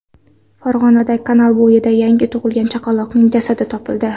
Farg‘onada kanal bo‘yida yangi tug‘ilgan chaqaloqning jasadi topildi.